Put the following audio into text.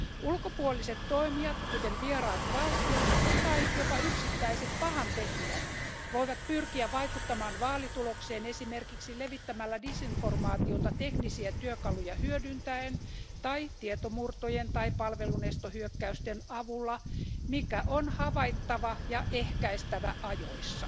Ulkopuoliset toimijat, kuten vieraat valtiot tai jopa yksittäiset pahantekijät, voivat pyrkiä vaikuttamaan vaalitulokseen esimerkiksi levittämällä disinformaatiota teknisiä työkaluja hyödyntäen tai tietomurtojen tai palvelunestohyökkäysten avulla, mikä on havaittava ja ehkäistävä ajoissa.